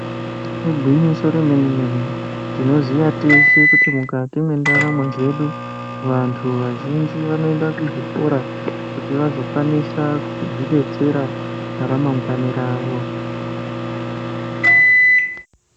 Igwinyiso re mene mene tinoziya teshe kuti mukati mwe ndaramo dzedu vantu vazhinji vanoenda ku zvikora kuti vazo kwanisa kuzvi detsera ra mangwani ravo.